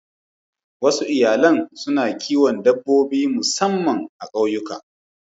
Wasu iyalan suna kiwon dabbobi musamman a ƙauyuka.